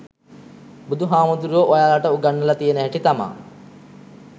බුදු හාමුදුරුවො ඔයාලට උගන්නල තියෙන හැටි තමා